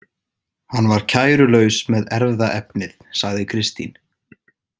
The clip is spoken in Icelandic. Hann var kærulaus með erfðaefnið, sagði Kristín.